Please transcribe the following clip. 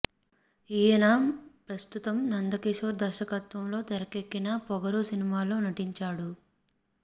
ఈయన ప్రస్తుతం నందకిషోర్ దర్శకత్వంలో తెరకెక్కిన పొగరు సినిమా లో నటించాడు